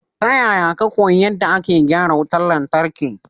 Ta yaya ka koyi yadda ake gyara wutar lantarki?